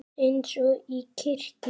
Eins og í kirkju.